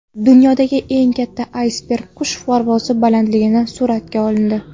Dunyodagi eng katta aysberg qush parvozi balandligidan suratga olindi.